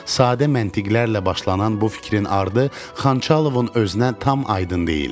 Sadə məntiqərlə başlanan bu fikrin ardı Xançalovun özünə tam aydın deyildi.